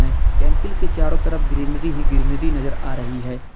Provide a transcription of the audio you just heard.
में टेंपल के चारों तरफ ग्रीनरी ही ग्रीनरी नजर आ रही है।